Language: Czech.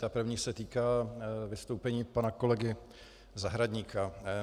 Ta první se týká vystoupení pana kolegy Zahradníka.